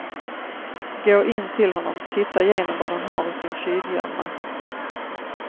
Gå in till honom, titta igenom vad han har i sin tjyvgömma.